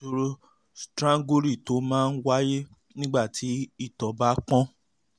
ìṣòro strangury tó máa ń wáyé nígbà tí ìtọ̀ bá ń pọ́n